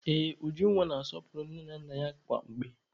Ee, Ujunwa na-asọpụrụ nne na nna ya kwa mgbe